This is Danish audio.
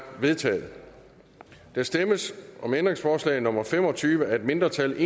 vedtaget der stemmes om ændringsforslag nummer fem og tyve af et mindretal